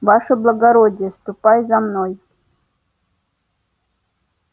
ваше благородие ступай за мною